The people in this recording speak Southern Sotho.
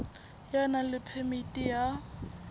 ya nang le phemiti ya